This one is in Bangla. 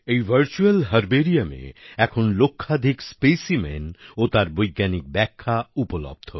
এই ভারচুয়াল Herbariumএ এখন লক্ষাধিক specimenও তার বৈজ্ঞানিক ব্যাখ্যা উপলদ্ধ